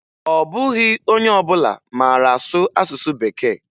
Ọ bụghị onye ọbụla mara asụ asụsụ Bekee